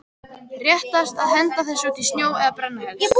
Réttast að henda þessu út í sjó eða brenna helst.